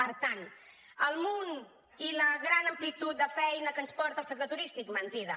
per tant el munt i la gran amplitud de feina que ens porta el sector turístic mentida